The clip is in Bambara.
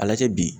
A lajɛ bi